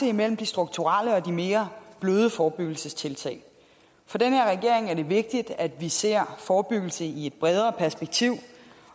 imellem de strukturelle og de mere bløde forebyggelsestiltag for den her regering er det vigtigt at vi ser forebyggelse i et bredere perspektiv